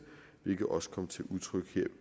hvilket også kom til udtryk her